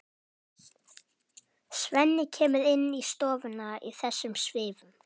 Svenni kemur inn í stofuna í þessum svifum.